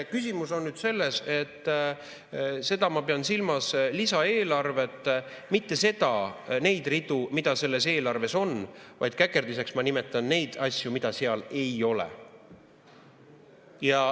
Küsimus on selles, et ma pean silmas lisaeelarvet – mitte neid ridu, mis selles eelarves on, vaid käkerdiseks ma nimetan neid asju, mida seal ei ole.